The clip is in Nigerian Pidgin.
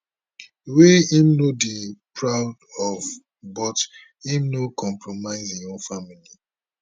wey im no dey proud of but im no compromise im own family